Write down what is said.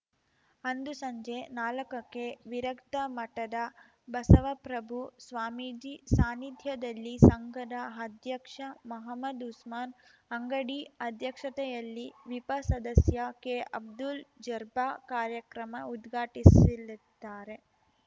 ಅಂದು ಸಂಜೆ ನಾಲಕಕ್ಕೆ ವಿರಕ್ತ ಮಠದ ಬಸವಪ್ರಭು ಸ್ವಾಮೀಜಿ ಸಾನ್ನಿಧ್ಯದಲ್ಲಿ ಸಂಘದ ಅಧ್ಯಕ್ಷ ಮಹಮ್ಮದ್‌ ಉಸ್ಮಾನ್‌ ಅಂಗಡಿ ಅಧ್ಯಕ್ಷತೆಯಲ್ಲಿ ವಿಪ ಸದಸ್ಯ ಕೆಅಬ್ದುಲ್‌ ಜರ್ಬ್ಬಾ ಕಾರ್ಯಕ್ರಮ ಉದ್ಘಾಟಿಸಿಲಿದ್ದಾರೆ